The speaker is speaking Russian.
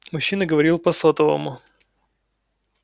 мужчина говорил по сотовому